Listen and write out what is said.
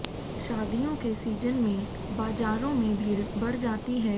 शादियों के सीजन में बाजारों में भीड़ बढ़ जाती है